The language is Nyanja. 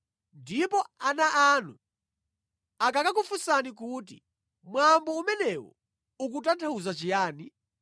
Ndipo ana anu akakakufunsani kuti, ‘Mwambo umenewu ukutanthauza chiyani?’